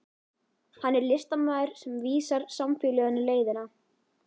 Hann er listamaðurinn sem vísar samfélaginu leiðina.